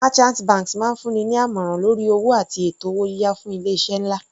Merchant banks máa ń fún ni ní àmọ̀ràn lórí owó àti ètò owó yíyá fún ilé iṣẹ́ nlá.